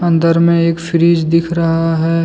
अंदर में एक फ्रिज दिख रहा है।